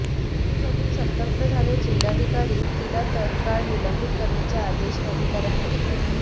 हे बघून संतप्त झालेले जिल्हाधिकारी तिला तत्काळ निलंबित करण्याचे आदेश अधिकाऱ्यांना देतात